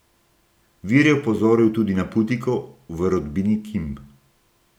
Vir je opozoril tudi na putiko v rodbini Kim.